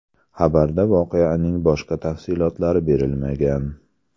Xabarda voqeaning boshqa tafsilotilari berilmagan.